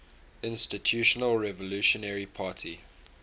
institutional revolutionary party